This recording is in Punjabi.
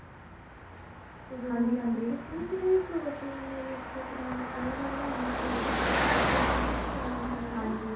ਦੱਸਣਾ ਸੀਗਾ protein ਯੁਕਤ ਪਦਾਰਥ ਜਿਹੜਾ ਆਪਾ ਬਣਾਨੇ ਹਾ food protein ਜਿਸ ਚ ਜ਼ਿਆਦਾ ਹੁੰਦਾ ਆ